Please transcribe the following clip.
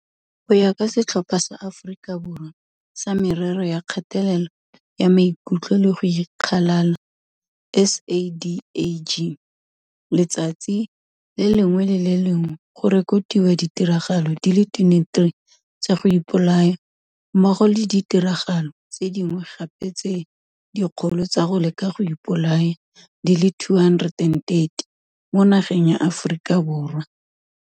Go ya ka Setlhopha sa Aforika Borwa sa Merero ya Kgatelelo ya Maikutlo le go Ikgalala SADAG, letsatsi le lengwe le le lengwe go rekotiwa ditiragalo di le 23 tsa go ipolaya mmogo le ditiragalo tse dingwe gape tse dikgolo tsa go leka go ipolaya di le 230 mo nageng ya Aforika Borwa.